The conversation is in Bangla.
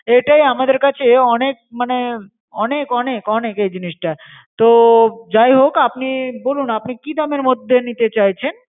এটাই আমাদের কাছে অনেক মানে অনেক অনেক অনেক এই জিনিসটা। তো যাই হোক, আপনি বলুন আপনি কি দামের মধ্যে নিতে চাইছেন?